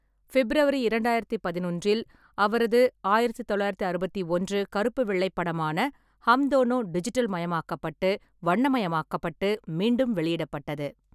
February இரண்டாயிரத்தி பதினொன்றில், அவரது ஆயிரத்து தொள்ளாயிரத்து அறுபத்தி ஒன்று கருப்பு-வெள்ளை படமான ஹம் டோனோ டிஜிட்டல் மயமாக்கப்பட்டு, வண்ணமயமாக்கப்பட்டு மீண்டும் வெளியிடப்பட்டது.